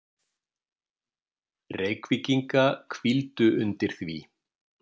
Reykvíkinga hvíldu undir því.